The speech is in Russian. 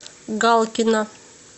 галкина